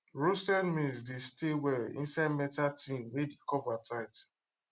roasted maize dey stay well inside metal tin wey the cover tight